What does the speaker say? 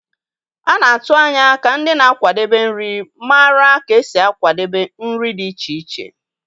A na-atụ anya ka ndị na-akwadebe nri mara ka esi akwadebe nri dị iche iche.